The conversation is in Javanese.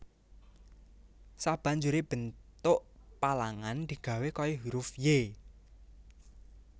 Sabanjuré bentuk palangan digawé kaya hurufY